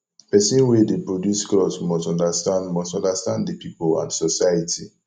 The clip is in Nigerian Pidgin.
persin wey de produce cloth must understand must understand di pipo and society